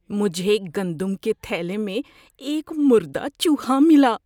مجھے گندم کے تھیلے میں ایک مردہ چوہا ملا۔